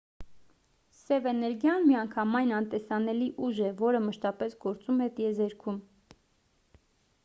սև էներգիան միանգամայն անտեսանելի ուժ է որը մշտապես գործում է տիեզերքում